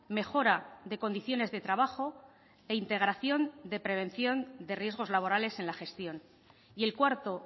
mejora de condiciones de trabajo e integración de prevención de riesgos laborales en la gestión y el cuarto